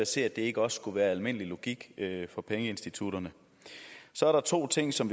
se at det ikke også skulle være almindelig logik for pengeinstitutterne så er der to ting som